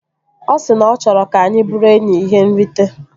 Ọ si na ọ chọrọ ka anyị bụrụ enyi ihe nrite